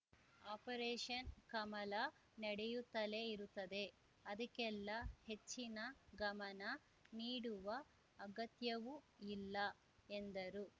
operation Kamala ನಡೆಯುತ್ತಲೇ ಇರುತ್ತದೆ ಅದಕ್ಕೆಲ್ಲ ಹೆಚ್ಚಿನ ಗಮನ ನೀಡುವ ಅಗತ್ಯವೂ ಇಲ್ಲ ಎಂದರು